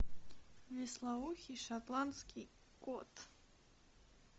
вислоухий шотландский кот